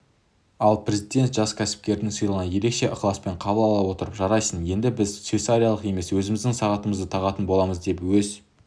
ал президент жас кәсіпкердің сыйлығын ерекше ықыласпен қабыл ала отырып жарайсың енді біз швейцарлық емес өзіміздің сағатымызды тағатын боламыз деп өз